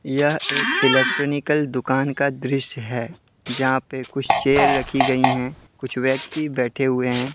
यह एक इलेक्ट्रिनिकल दुकान का दृश्य है जहां पे कुछ चेयर रखी गई है कुछ व्यक्ति बैठे हुए हैं।